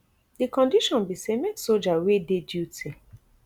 di condition be say make soldier wey dey duty